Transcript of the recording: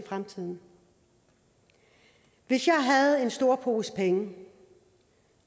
fremtiden hvis jeg havde en stor pose penge